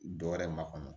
Dɔ wɛrɛ makɔnɔ